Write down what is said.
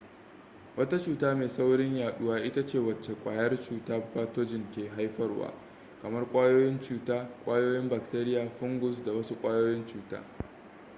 wata cuta mai saurin yaduwa ita ce wacce kwayar cuta pathogen ke haifarwa kamar ƙwayoyin cuta ƙwayoyin bakteria fungus ko wasu ƙwayoyin cuta